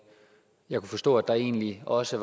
kunne forstå at der egentlig også